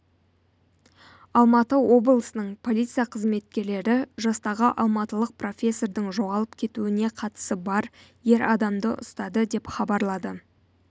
алматы облысының полиция қызметкерлері жастағы алматылық профессордың жоғалып кетуіне қатысы бар ер адамды ұстады деп хабарлады